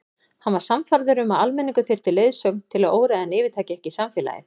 Hann var sannfærður um að almenningur þyrfti leiðsögn til að óreiðan yfirtæki ekki samfélagið.